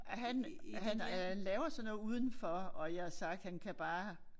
Han han øh laver sådan noget udenfor og jeg har sagt han kan bare